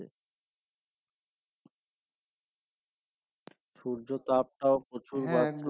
সূর্যতাপটাও প্রচুর বাড়ছে।